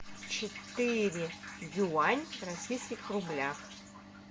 четыре юань в российских рублях